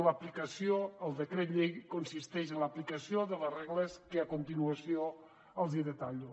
l’aplicació del decret llei consisteix en l’aplicació de les regles que a continuació els detallo